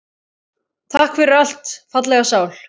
Takk fyrir allt, fallega sál.